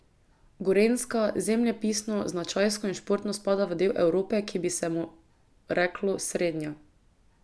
Gorenjska, zemljepisno, značajsko in športno, spada v del Evrope, ki bi se mu reklo srednja.